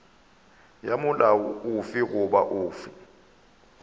ya molao ofe goba ofe